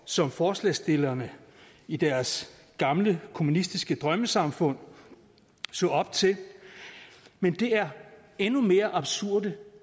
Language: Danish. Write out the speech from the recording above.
som forslagsstillerne i deres gamle kommunistiske drømmesamfund så op til men det er endnu mere absurde